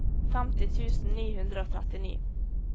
femti tusen ni hundre og trettini